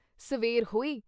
ਸਵੇੇਰ ਹੋਈ।